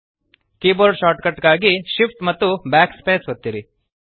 keyboard shortcut ಗಾಗಿ shift amp backspace ಒತ್ತಿರಿ